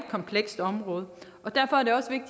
komplekst område og derfor